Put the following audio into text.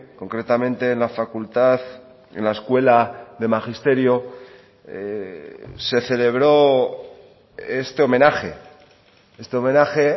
concretamente en la facultad en la escuela de magisterio se celebró este homenaje este homenaje